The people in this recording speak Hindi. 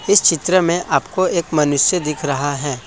इस चित्र में आपको एक मनुष्य दिख रहा है ।